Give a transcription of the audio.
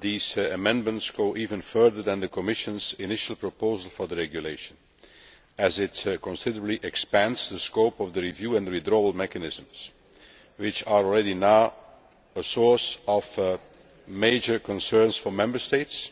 These amendments go even further than the Commission's initial proposal for the regulation, as they considerably expand the scope of the review and withdrawal mechanisms which are already a source of major concern for Member States